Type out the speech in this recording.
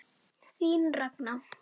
Þín Ragna.